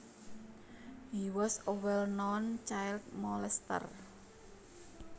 He was a well known child molester